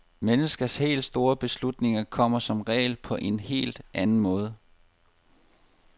Menneskers helt store beslutninger kommer som regel på en helt anden måde.